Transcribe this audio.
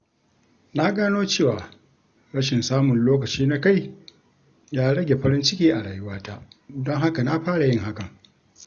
Na gano cewa rashin samun lokaci na kai ya rage farin ciki a rayuwata, don haka na fara yin hakan.